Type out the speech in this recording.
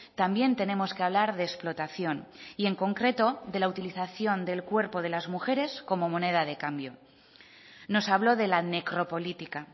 también tenemos que hablar de explotación y en concreto de la utilización del cuerpo de las mujeres como moneda de cambio nos habló de la necropolítica